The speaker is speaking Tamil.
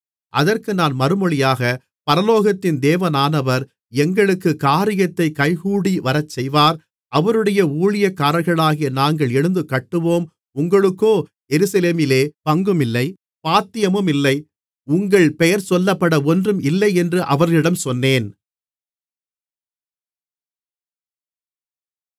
அதற்கு நான் மறுமொழியாக பரலோகத்தின் தேவனானவர் எங்களுக்குக் காரியத்தைக் கைகூடிவரச்செய்வார் அவருடைய ஊழியக்காரர்களாகிய நாங்கள் எழுந்து கட்டுவோம் உங்களுக்கோ எருசலேமிலே பங்குமில்லை பாத்தியமுமில்லை உங்கள் பெயர்சொல்லப்பட ஒன்றும் இல்லையென்று அவர்களிடம் சொன்னேன்